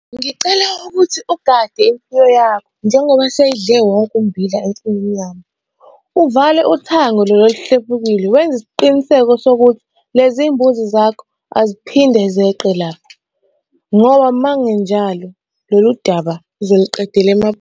Ngicela ukuthi ugade imfuyo yakho njengoba seyidle wonke ummbila ensimini yami. Uvale uthango lolu oluhlephukile. Wenze isiqiniseko sokuthi lezi mbuzi zakho aziphinde zeqe lapha, ngoba uma kungenjalo lolu daba sizoluqedela .